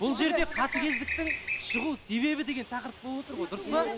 бұл жерде қатыгездіктің шығу себебі деген тақырып болып отыр ғой дұрыс па